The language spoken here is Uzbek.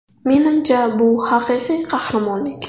Menimcha, bu haqiqiy qahramonlik”.